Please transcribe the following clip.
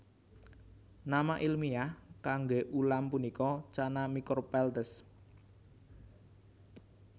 Nama ilmiah kangge ulam punika Channa micropeltes